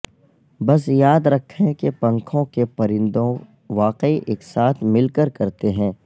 بس یاد رکھیں کہ پنکھوں کے پرندوں واقعی ایک ساتھ مل کر کرتے ہیں